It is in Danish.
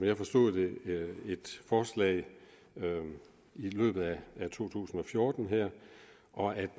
jeg forstod det et forslag i løbet af to tusind og fjorten og at